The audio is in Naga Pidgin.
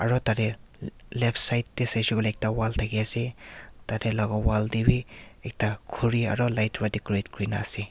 aro tate left side te sai she koile ekta wall thaki ase tata laga wall te bi ekta khuri aro light para decorate kuri kena ase.